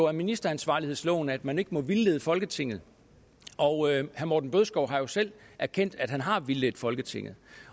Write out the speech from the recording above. af ministeransvarlighedsloven at man ikke må vildlede folketinget og herre morten bødskov har jo selv erkendt at han har vildledt folketinget